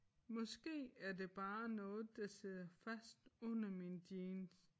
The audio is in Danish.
Måske er det bare noget der sidder fast under mine jeans